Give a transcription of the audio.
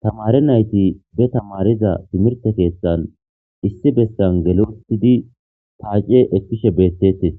tamare nayti be tamariza timirte keeththan issi bessan gelli uttidi paace ekiishshe bettetees